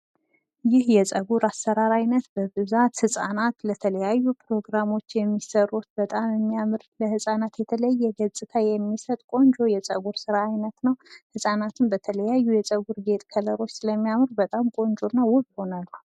ይህ የጸጉር አሰራር አይነት በብዛት ህጻናት ለተለያዩ ፕሮግራሞች የሚሰሩት በጣም የሚያምር ለህጻናት የተለየ ገጽታ የሚሰጥ ቆንጆ የጸጉር ስራ አይነት ነው። ህጻናቱም በተለያዩ የጸጉር ጌጥ ከለሮች ስለሚያምሩ በጣም ቆንጅና ውብ ሁነዋል።